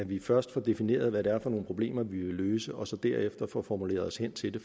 at vi først får defineret hvad det er for nogle problemer vi vil løse og så derefter får formuleret os hen til det